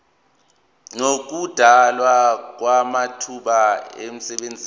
nokudalwa kwamathuba emisebenzi